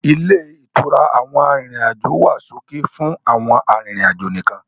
Ilé ìtura àwọn arìnrìn-àjò wá ṣókí fún àwọn arìnrìn-àjò nìkan.